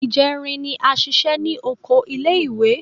Ìjẹrin ni a ṣiṣẹ́ ní oko ilé ìwé.